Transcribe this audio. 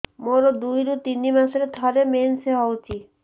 ମୋର ଦୁଇରୁ ତିନି ମାସରେ ଥରେ ମେନ୍ସ ହଉଚି